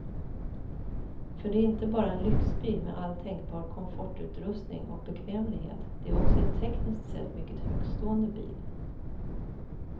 För det är inte bara en lyxbil med all tänkbar komfortutrustning och bekvämlighet, det är också en tekniskt sett mycket högtstående bil.